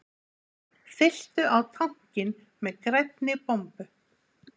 Fylltu á tankinn með grænni bombu